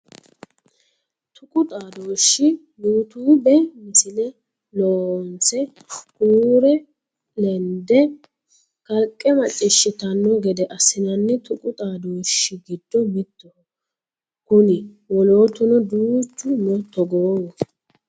Tuqu xadoshi Youtube misile loonse huure lende kalqe macciishshittano gede assinanni tuqu xadooshshi giddo mittoho kuni wolotuno duuchu no togohu.